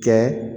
Kɛ